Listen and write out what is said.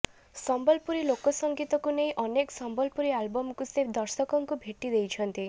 ସମ୍ବଲପୁରୀ ଲୋକ ସଂଗୀତକୁ ନେଇ ଅନେକ ସମ୍ବଲପୁରୀ ଆଲବମକୁ ସେ ଦର୍ଶ୍କଙ୍କୁ ଭେଟି ଦେଇଛନ୍ତି